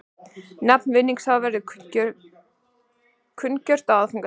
Nafn vinningshafans verður kunngjört á aðfangadag